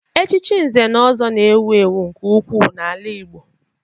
Echichi Nze na Ọzọ na-ewu ewu nke ukwuu n'ala Igbo